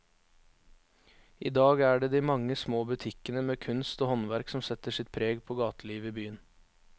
I dag er det de mange små butikkene med kunst og håndverk som setter sitt preg på gatelivet i byen.